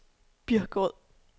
Birkerød